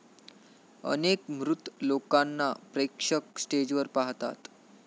अनेक मृत लोकांना प्रेक्षक स्टेजवर पाहतात.